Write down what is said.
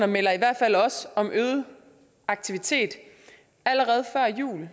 melder i hvert fald også om øget aktivitet allerede før jul